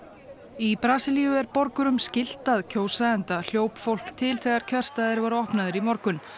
í Brasilíu er borgurum skylt að kjósa enda hljóp fólk til þegar kjörstaðir voru opnaðir í morgun